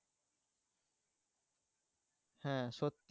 হ্যাঁ সত্যি।